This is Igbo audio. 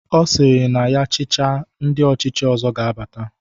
Ọ sịrị na ya chịcha ma ndi ọchịchị ọzọ ga-abata.